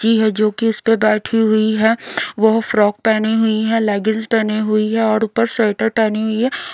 जी है जो कि इस पे बैठी हुई है वह फ्रॉक पहनी हुई है लेगिंग्स पहनी हुई है और ऊपर स्वेटर पहनी हुई है ।